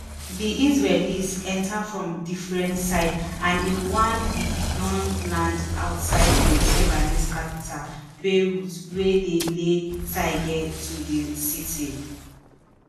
di israelis enta from idifferent side and in one week don land outside di lebanese capital beirut wia dey lay seige to di city